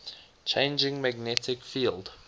changing magnetic field